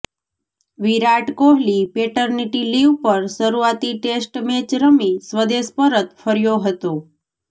વિરાટ Kohli paternity leave પર શરૂઆતી test match રમી સ્વદેશ પરત ફર્યો હતો